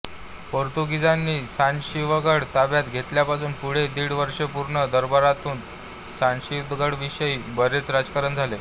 पोर्तुगिजांनी सदाशिवगड ताब्यात घेतल्यापासून पुढे दीड वर्ष पुणे दरबारातून सदाशिवगडाविषयी बरेच राजकारण झाले